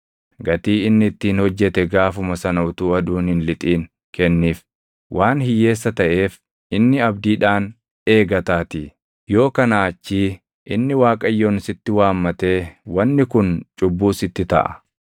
Gatii inni ittiin hojjete gaafuma sana utuu aduun hin lixin kenniif; waan hiyyeessa taʼeef inni abdiidhaan eegataatii. Yoo kanaa achii inni Waaqayyoon sitti waammatee wanni kun cubbuu sitti taʼa.